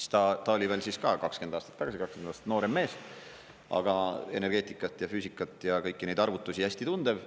Siis ta oli veel ka – 20 aastat tagasi – 20 aastat noorem mees, aga energeetikat ja füüsikat ja kõiki neid arvutusi hästi tundev.